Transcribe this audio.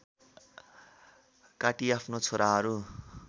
काटी आफ्नो छोराहरू